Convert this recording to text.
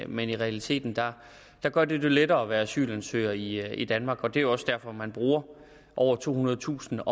men i realiteten gør det det lettere at være asylansøger i i danmark og det er jo også derfor at man bruger over tohundredetusind